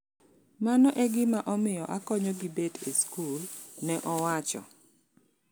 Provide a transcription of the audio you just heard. Mano e gima omio akonyo gi bet e skul," neowacho.